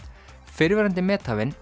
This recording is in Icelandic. fyrrverandi methafinn